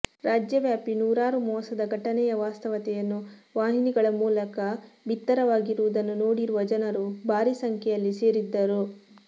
ರಾಜ್ಯವ್ಯಾಪಿ ನೂರಾರು ಮೋಸದ ಘಟನೆಯ ವಾಸ್ತವತೆಯನ್ನು ವಾಹಿನಿಗಳ ಮೂಲಕ ಭಿತ್ತರವಾಗಿರುವುದನ್ನು ನೋಡಿರುವ ಜನರು ಭಾರೀ ಸಂಖ್ಯೆಯಲ್ಲಿ ಸೇರಿದ್ದರು